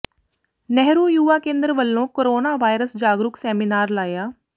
ਨਹਿਰੂ ਯੂਵਾ ਕੇਂਦਰ ਵੱਲੋਂ corona virus ਜਾਗਰੂਕ seminar ਲਾਇਆ